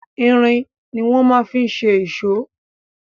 Irin ni wọ́n fi ma ń ṣe èṣó.